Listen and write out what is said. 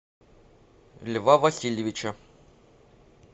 льва васильевича